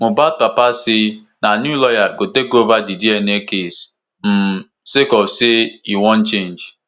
mohbad papa say na new lawyer go take ova di dna case um sake of say e wan change